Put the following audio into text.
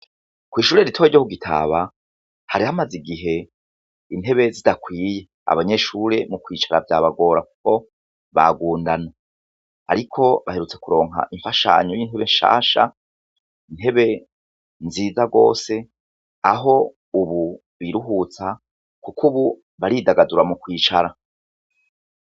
kw'ishuri rito ryo kugitaba hari hamaze igihe intebe zidakwiye abenyeshuri mu kwicara vyabagora kuko bagundana ariko baherutse kuronka imfashanyo y'intebe nshasha, intebe nziza gose aho ubu biruhutsa kuko ubu baridagadura mu kwicara.